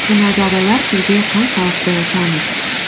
мына жағдайлар сізге қаншалықты таныс